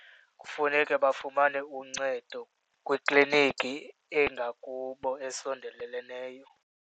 Kufuneke bafumane uncedo kwikliniki engakubo esondeleleneyo.